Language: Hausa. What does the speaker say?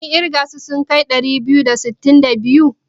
Kun ƙirga su sun kai ɗari biyu da sittin da biyu?